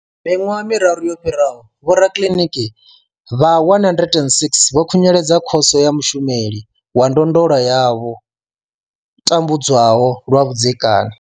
Miṅwaha miraru yo fhiraho, vhorakiliniki vha 106 vho khunyeledza khoso ya mushumeli wa ndondolo ya vho tambudzwaho lwa vhudzekani.